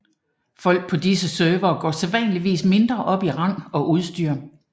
Folk på disse servere går sædvanligvis mindre op i rang og udstyr